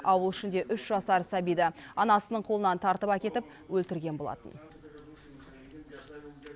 ауыл ішінде үш жасар сәбиді анасының қолынан тартып әкетіп өлтірген болатын